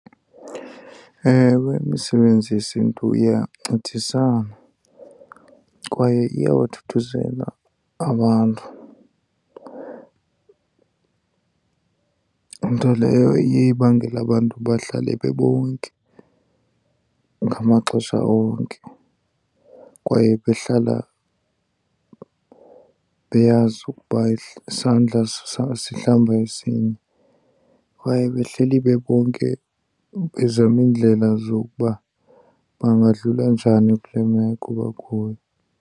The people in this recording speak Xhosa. Ewe, imisebenzi yesiNtu iyancedisana kwaye iyabathuthuzela abantu. Nto leyo iye ibangele abantu bahlale bebonke ngamaxesha onke kwaye behlala beyazi ukuba isandla sihlamba esinye. Kwaye behleli bebonke bezama iindlela zokuba bangadlula njani kule meko bakuyo.